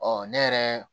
Ɔ ne yɛrɛ